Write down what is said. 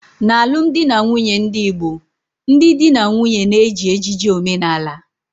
n'alụmdi na nwunye ndị Igbo, ndị di na nwunye na-eji ejiji omenala